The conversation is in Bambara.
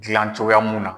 Dilan cogoya mun na